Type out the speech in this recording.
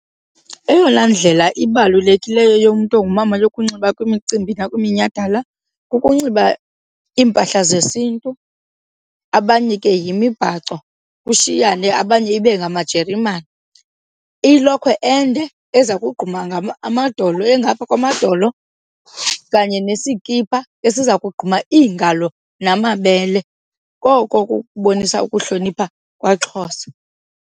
Eyona ndlela ibalulekileyo yomntu ongumama yokunxiba kwimicimbi nakweminye iminyhadala kukunxiba iimpahla zesiNtu, abanye ke yimibhaco, kushiyane abanye ibe ngamajeremane. Ilokhwe ende eza kogquma amadolo, engapha kwamadolo kanye nesikipha esiza kogquma iingalo namabele. Koko kukubonisa ukuhlonipha kwaXhosa.